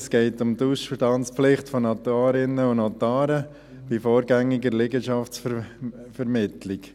Es geht um die Ausstandspflicht von Notarinnen und Notaren bei vorgängiger Liegenschaftsvermittlung.